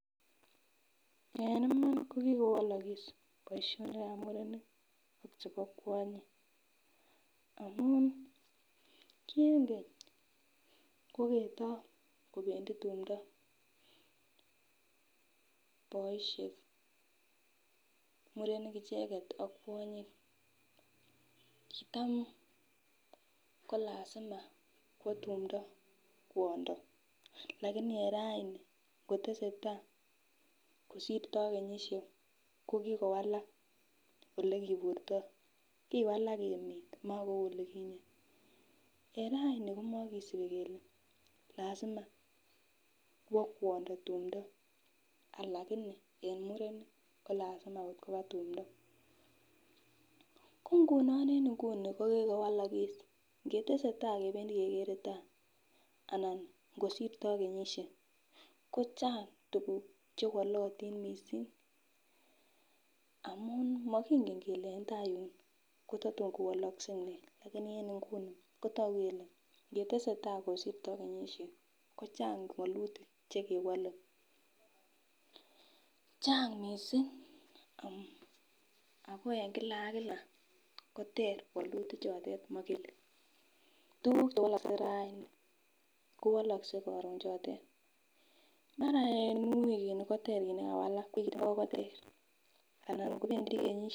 En iman kokikowalakis boisionikab murenik ak chebo kwanyik, amun ki en keny kokitokobendi tumdo boisiek murenik icheket ak kwonyik kitam kolasima kwa tumdo kwondo lakini en raini kotesetai kosirto kenyisiek kokikowalak olekiburto kiwalak emet ma kou olikinyee en raini komokisip kele lasima kwo kwondo tumdo alakini en mureni kolasima kot kopaa tumdo, ngunon en inguni kokikowalakis ngeteseta kebendi taa ana kosirto kenyisiek kochang tuguk chewolotin missing amun mokinge kele en taa yun kototun kowalokse nee lakini en inguni ngetesetai kosirto kenyisiek kochang wolutik chekewole chang missing ako en kila akila koterter wolutichotet mokele tukuk chewolokse raini kowolokse karon chotet mara en wikini koter kit nekawalak, wikit ingo koter anan ingobebdi kenyisiek .